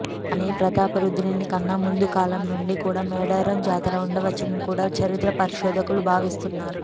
కానీ ప్రతాపరుద్రునికన్నా ముందు కాలం నుంచి కూడా మేడారం జాతర ఉండవచ్చని కూడా చరిత్ర పరిశోధకులు భావిస్తున్నారు